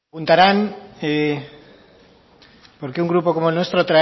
preguntarán por qué un grupo como el nuestro